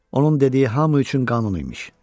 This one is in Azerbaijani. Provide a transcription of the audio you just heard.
Onun dediyi hamı üçün qanun imiş.